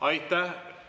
Aitäh!